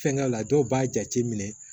Fɛnkɛ la dɔw b'a jate minɛ